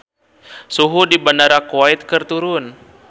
Suhu di Bandara Kuwait keur turun